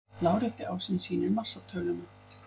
Lárétti ásinn sýnir massatöluna.